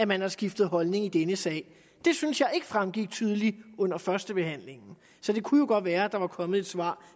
man har skiftet holdning i denne sag det synes jeg ikke fremgik tydeligt under førstebehandlingen så det kunne jo godt være at der var kommet et svar